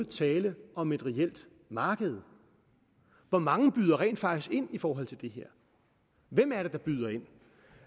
tale om et reelt marked hvor mange byder rent faktisk ind i forhold til det her hvem er det der byder ind